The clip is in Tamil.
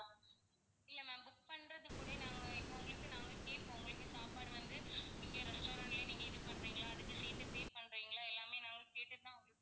இல்ல ma'am book பண்றதுக்கூடயே நாங்க இப்போ உங்களுக்கு நாங்க கேப்போம். உங்களுக்கு சாப்பாடு வந்து நீங்க restaurant லயே நீங்க இது பண்றீங்களா அதுக்கும் சேர்த்து pay பண்றீங்களா எல்லாமே நாங்க கேட்டுட்டுதான்